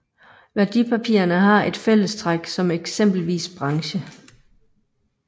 Værdipapirerne har et fællestræk som eksempelvis branche